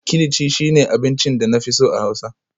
kilichi shine abincin da na fi so a Hausa